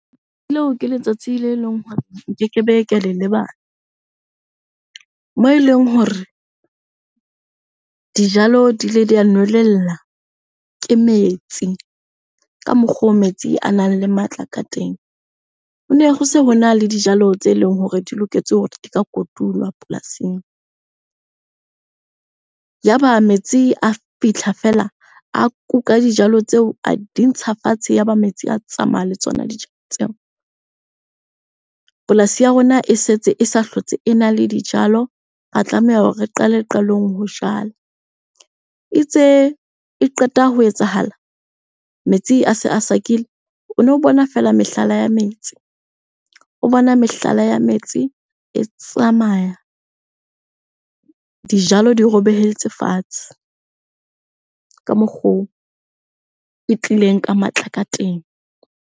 Leo ke letsatsi le leng hore nkeke be ka le lebala. Moo eleng hore dijalo di ile di a nwelella ke metsi ka mokgo metsi a nang le matla ka teng. Ne ho se hona le dijalo tse leng hore di loketse hore di ka kotulwa polasing. Yaba metsi a fihla fela, a kuka dijalo tseo a di ntsha fatshe, yaba metsi a tsamaya le tsona dijalo tseo. Polasi ya rona e setse e sa hlotse ena le dijalo, ra tlameha hore re qale qalong ho jala. Itse e qeta ho etsahala, metsi a se a sakile. O no bona fela mehlala ya metsi, o bona mehlala ya metsi e tsamaya. Dijalo di robehetse fatshe ka mokgo e tlileng ka matla ka teng.